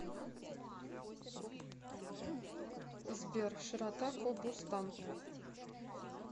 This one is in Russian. сбер широта кобустан